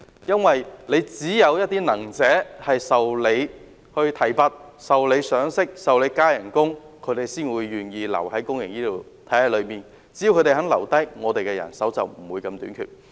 因為只有能者受到提拔，受到賞識，薪酬增加，他們才願意留在公營醫療體系裏，而只要他們肯留下來，公營醫療的人手便不致這麼短缺。